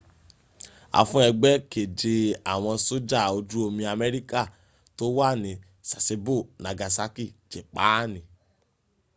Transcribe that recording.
a fún ẹgbẹ́ keje àwọn sójà ojú omi amerika tó wà ní sasebo nagasaki jépaani